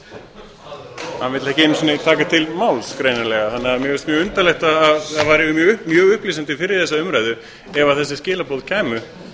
orðið hann vill ekki einu sinni taka til máls greinilega þannig að mér finnst mjög undarlegt eða væri mjög upplýsandi fyrir þessa umræðu ef þessi skilaboð kæmu